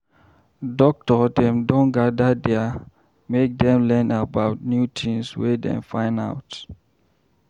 Doctor dem don gada there make dem learn about new tins wey dem find out.